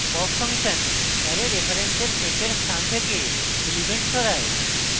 pop function array রেফারেন্সের শেষের স্থান থেকে element সরায়